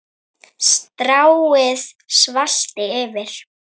Stráið salti yfir.